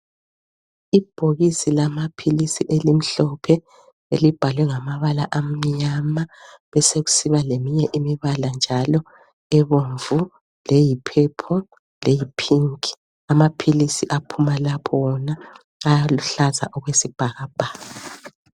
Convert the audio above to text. Ibhokisi lama philisi elimhlophe elibhalwe ngamabala amnyama besokusiba leminye imibala njalo ebomvu leyi purple leyipink. Amaphilisi aphuma lapho wona aluhlaza okwesibhakabhaka.